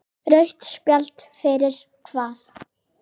Rautt spjald fyrir hvað?